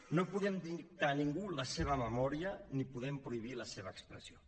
no podem dictar a ningú la seva memòria ni podem prohibir la seva expressió